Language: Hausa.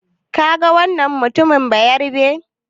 Kaga wannan mutumin Bayarabe?